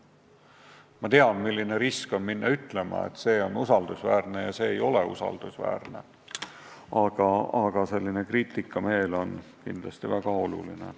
Ma tean, milline risk on minna ütlema, et see allikas on usaldusväärne ja see ei ole usaldusväärne, aga selline kriitikameel on kindlasti väga oluline.